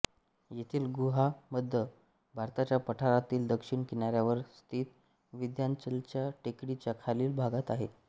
येथील गुहा मध्य भारताच्या पठारातील दक्षिण किनाऱ्यावर स्थित विंध्याचलच्या टेकडीच्या खालील भागात आहे